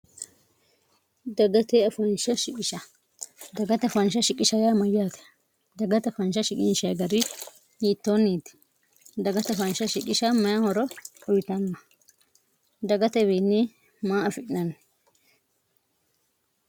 dagate afansh siis dagata fansha shiqisha yaa mayyaate dagata fansha shiginsha agari yiittoonniiti dagata faansha shiqisha maya horo uritanna dagatwiinni maa afi'nanni